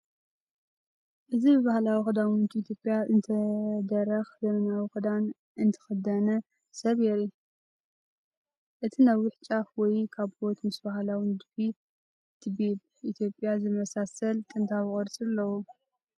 እዚ ብባህላዊ ኽዳውንቲ ኢትዮጵያ እተደረኸ ዘመናዊ ኽዳን እተኸድነት ሰብ የርኢ። እቲ ነዊሕ ጫፍ ወይ ካቦት ምስ ባህላዊ ንድፊ ቲቤብ ኢትዮጵያ ዝመሳሰል ቀጥታዊ ቕርፂ ኣለዎ።